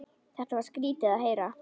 Þetta var skrýtið að heyra.